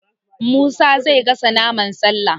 Musa zai gasa naman Sallah